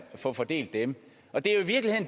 få fordelt dem